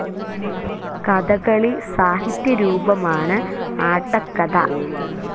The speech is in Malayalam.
കഥകളി സാഹിത്യ രൂപമാണ് ആട്ടക്കഥ.